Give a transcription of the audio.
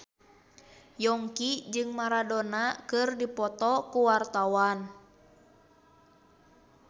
Yongki jeung Maradona keur dipoto ku wartawan